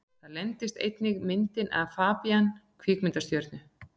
Þar leyndist einnig myndin af FABÍAN kvikmyndastjörnu.